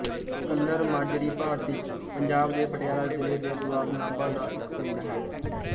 colour Majri ਭਾਰਤੀ ਪੰਜਾਬ ਦੇ ਪਟਿਆਲਾ ਜ਼ਿਲ੍ਹੇ ਦੇ ਬਲਾਕ ਨਾਭਾ ਦਾ ਇੱਕ ਪਿੰਡ ਹੈ